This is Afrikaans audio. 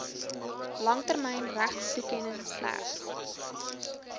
langtermyn regtetoekenning slegs